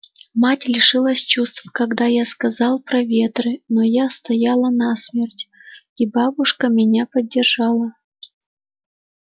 мать лишилась чувств когда я сказала про ветры но я стояла насмерть и бабушка меня поддержала